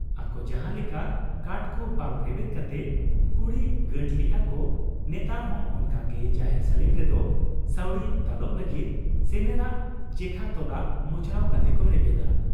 ᱟᱠᱚ ᱡᱟᱦᱟᱸ ᱞᱮᱠᱟ ᱠᱟᱱᱴ ᱠᱚ ᱵᱟᱝ ᱵᱮᱨᱮᱫ ᱠᱟᱛᱮ ᱠᱩᱲᱤ ᱜᱟᱸᱴ ᱞᱮᱜ ᱟ ᱠᱚ ᱾ᱱᱮᱛᱟᱨ ᱦᱚᱸ ᱚᱱᱠᱟ ᱜᱮ ᱡᱟᱦᱮᱨ ᱥᱟᱹᱲᱤᱢ ᱨᱮᱫᱚ ᱥᱟᱹᱣᱲᱤ ᱫᱟᱞᱚᱵ ᱞᱟᱹᱜᱤᱫ ᱥᱮᱱᱮᱨᱟᱜ ᱡᱮᱠᱷᱟ ᱛᱚᱞᱟᱜ ᱢᱚᱪᱲᱣ ᱠᱟᱛᱮ ᱠᱚ ᱨᱮᱵᱮᱫᱟ ᱾